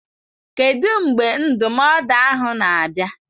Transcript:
Kedu mgbe ndụmọdụ ahụ na-abịa.